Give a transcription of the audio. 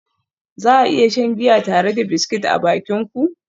Za a iya shan giya tare da biscuit a bakin ku?